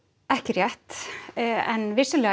ekki rétt en vissulega